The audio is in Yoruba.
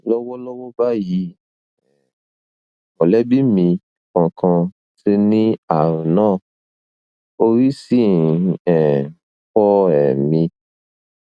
lọwọlọwọ báyìí um mọlẹbí mi kan kan ti ní ààrùn náà orí sì ń um fọ um mi